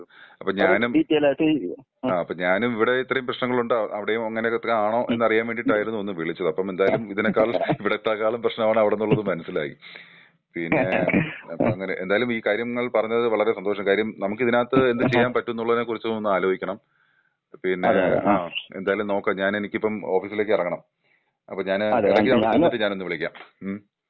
അപ്പോ ഞാനും ഇവിടെ ഇത്രേം പ്രേശ്നങ്ങൾ ഉണ്ടാവും അവിടേം അങ്ങെനെ ഒകെ തന്നെ ആണോ എന്ന് അറിയാൻ വേണ്ടീട്ടായിരുന്നു ഒന്ന് വിളിച്ചത് അപ്പോ എന്തായാലും ഇതിനെക്കാളും ഇവിടെത്തെക്കാളും പ്രേശ്നമാണ് അവിടെ എന്നുള്ളത് മനസിലായി. പിന്നെ അപ്പോ അങ്ങനെ എന്തായാലും ഈ കാര്യങ്ങൾ പറഞ്ഞത് വളരെ സന്തോഷം. കാര്യം നമ്മുക്ക് ഇതിനകത്ത് എന്താ ചെയ്യാൻ പറ്റും എന്നുള്ളതിനെ കുറിച്ച് ഒന്ന് അലോയിക്കണം. പിന്നെ എന്തായാലും നോക്ക ഞാനെ എനിക്കിപ്പോ ഓഫീസിലേക്ക് എറങ്ങണം അപ്പോ ഞാൻ എടക്ക് അവിടെ ചെന്നിട്ട് ഞാനൊന്ന് വിളിക്കാം. ഉം.